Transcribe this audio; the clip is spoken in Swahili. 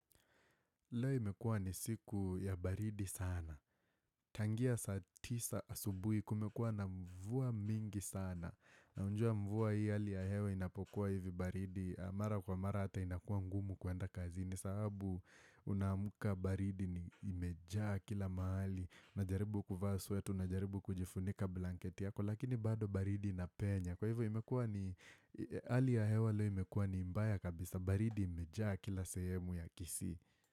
Leo imekua ni siku ya baridi sana. Tangia saa tisa asubuhi kumekua na mvua mingi sana. Na unajua mvua hii ali ya hewa inapokuwa hivi baridi. Mara kwa mara ata inakuwa ngumu kuenda kazini sahabu unaamka baridi imejaa kila mahali. Najaribu kuvaa sweta unajaribu kujifunika blanketi yako lakini bado baridi inapenya. Kwa hivyo imekua ali ya hewa leo imekua ni mbaya kabisa. Baridi imejaa kila sehemu ya kisii.